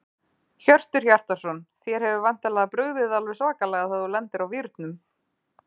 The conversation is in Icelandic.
Hjörtur Hjartarson: Þér hefur væntanlega brugðið alveg svakalega þegar þú lendir á vírnum?